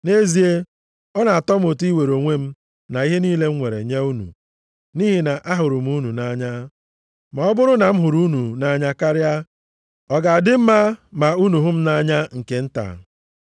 Nʼezie, ọ na-atọ m ụtọ iwere onwe m na ihe niile m nwere nye unu, nʼihi na ahụrụ m unu nʼanya. Ma ọ bụrụ na m hụrụ unu nʼanya karịa, ọ ga-adị mma ma unu hụ m nʼanya nke nta?